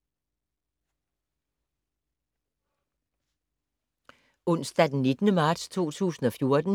Onsdag d. 19. marts 2014